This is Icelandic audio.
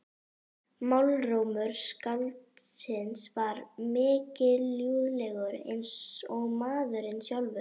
Málrómur skáldsins var mikilúðlegur eins og maðurinn sjálfur.